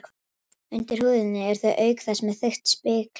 Undir húðinni eru þau auk þess með þykkt spiklag.